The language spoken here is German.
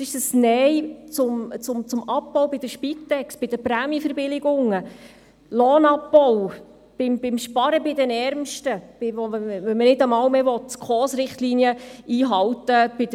Das ist ein Nein zum Abbau bei der Spitex, bei den Prämienverbilligungen, zum Lohnabbau, zum Sparen bei den Ärmsten, da man bei der Sozialhilfe nicht einmal mehr die SKOS-Richtlinien einhalten will.